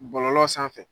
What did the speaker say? Bɔlɔlɔ sanfɛ